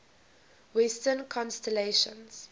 western constellations